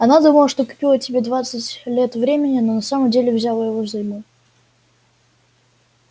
она думала что купила тебе двенадцать лет времени но на самом деле взяла его взаймы